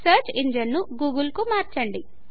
search engine googleకు మార్చండి